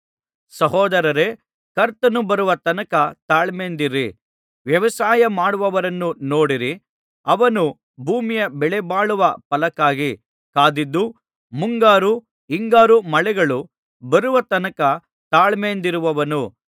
ಸಹೋದರರೇ ಕರ್ತನು ಬರುವ ತನಕ ತಾಳ್ಮೆಯಿಂದಿರಿ ವ್ಯವಸಾಯಮಾಡುವವರನ್ನು ನೋಡಿರಿ ಅವನು ಭೂಮಿಯ ಬೆಲೆಬಾಳುವ ಫಲಕ್ಕಾಗಿ ಕಾದಿದ್ದು ಮುಂಗಾರು ಹಿಂಗಾರು ಮಳೆಗಳು ಬರುವ ತನಕ ತಾಳ್ಮೆಯಿಂದಿರುವನು